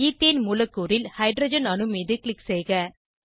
ethane மூலக்கூறில் hydrogen அணு மீது க்ளிக் செய்க